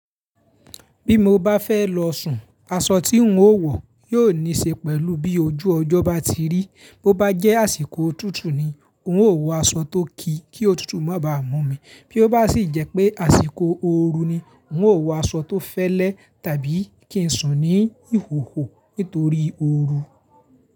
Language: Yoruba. Bí mo bá fẹ́ lọ sùn, aṣọ tí n ó wọ̀ yóò ní ṣe pẹ̀lú bí ojú ọjọ́ bá ti rí. Bo bá jẹ́ àsìkò òtútù ni, n ó wọ aṣọ tó ki kí òtútù má báa mú mi. Bí ó bá sì jẹ́ pé àsìkò ooru ni, n ó wọ aṣọ tó fẹ́lẹ́ tàbí kí n sùn ní ìhòhò nítorí ooru.